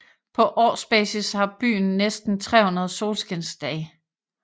På årsbasis har byen næsten 300 solskinsdage